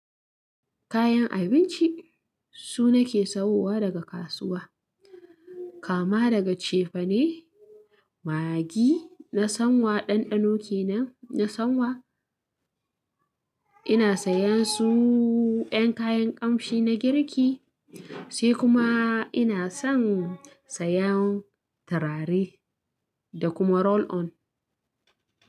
Kayan abinci su nake sawowa daga kasuwa. Kama daga cefane, maggi na son wa ɗanɗano kenan na son wa. Ina sayan su 'yan kayan ƙamshi na girki, sai kuma ina son sayan turare da kuma roll on.